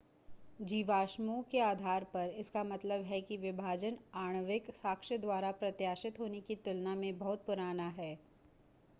जीवाश्मों के आधार पर इसका मतलब है कि विभाजन आणविक साक्ष्य द्वारा प्रत्याशित होने की तुलना में बहुत पुराना है